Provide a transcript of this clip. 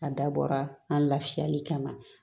A dabɔra an lafiyali kama